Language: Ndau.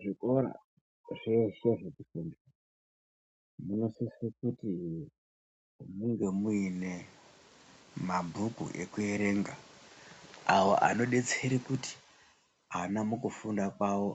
Zvikora zveshe zvinosise kuti munge muine mabhuku ekuerenga awo anodetsere kuti ana mukufunda kwavo